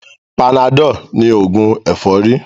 Panadol ní ògùn ẹ̀fọ́rí